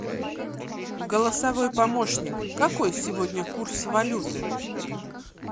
голосовй помощник какой сегодня курс валюты